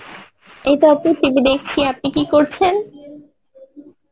এই তো আপু TV দেখছি, আপনি কি করছেন?